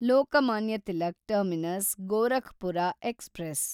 Lokmanya Tilak terminus Gorakhpur express